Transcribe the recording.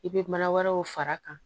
I bɛ mana wɛrɛw fara a kan